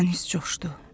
Dəniz coşdu.